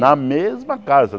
Na mesma casa.